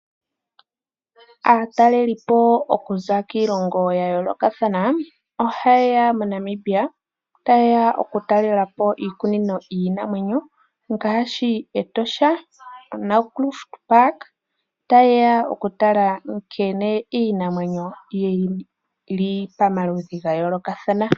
Aatalelipo okuza kiilongo ya yoolokathana ohayeya moNamibia tayeya oku talela po iikunino yiinamwenyo ngaashi Etosha, Naukluft Park tayeya okutala nkene iinamwenyo yili pamaludhi ga yoolokathana.